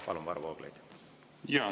Palun, Varro Vooglaid!